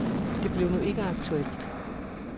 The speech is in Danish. Det blev nu ikke aktuelt.